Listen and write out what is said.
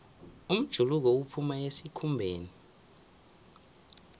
umjuluko uphuma esikhumbeni